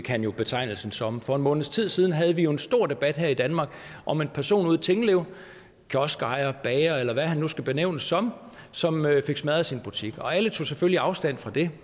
han blev betegnet som som for en måneds tid siden havde vi en stor debat her i danmark om en person ude i tingbjerg kioskejer bager eller hvad han nu skal benævnes som som fik smadret sin butik alle tog selvfølgelig afstand fra det